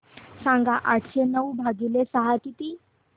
सांगा आठशे नऊ भागीले सहा किती